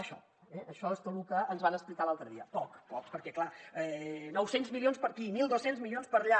això eh això és tot lo que ens van explicar l’altre dia poc poc perquè clar nou cents milions per aquí mil dos cents milions per allà